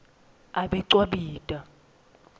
abecwabita